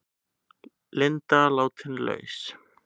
Linda látin laus